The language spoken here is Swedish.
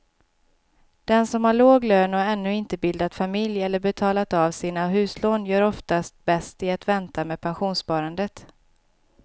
Den som har låg lön och ännu inte bildat familj eller betalat av sina huslån gör oftast bäst i att vänta med pensionssparandet.